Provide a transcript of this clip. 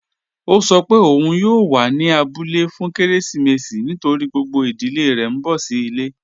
Ọ̀ sọ́ pé ọun yóò wà ní àbúlẹ̀ fún kérésìmésì nítorí gbogbo ìdílẹ̀ rẹ̀ n bọ̀ sí ilẹ̀.